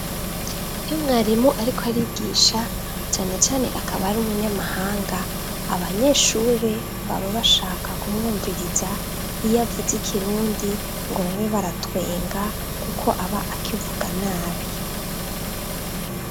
Iyo mwarimu ariko arigisha, cane cane akaba ari umunyamahanga abanyeshuri baba bashaka kumwumviriza iyavuze ikirundi ngo babe baratwenga kuko aba akivuga nabi.